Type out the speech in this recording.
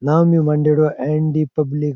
नाम भी मांडेडॉ है एन डी पब्लिक ।